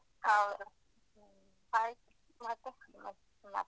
ಹೌದು ಆಯ್ತು ಮತ್ತೆ?